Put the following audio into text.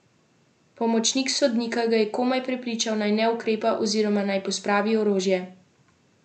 Pomočnik sodnika ga je komaj prepričal, naj ne ukrepa oziroma naj pospravi orožje.